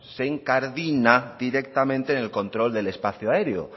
se incardina directamente en el control del espacio aéreo